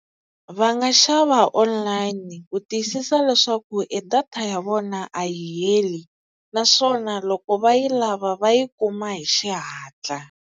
Va nga xava online ku tiyisisa leswaku e data ya vona a yi heli naswona loko va yi lava va yi kuma hi xihatla.